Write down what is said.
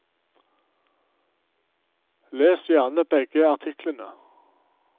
Les gjerne begge artiklene.